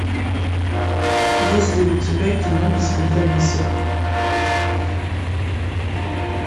есть ли у тебя кино без компромиссов